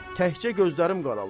Təkçə gözlərim qaralır.